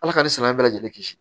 Ala ka ni san bɛɛ lajɛlen kisi